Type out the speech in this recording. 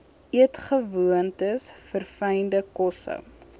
eetgewoontes verfynde kosse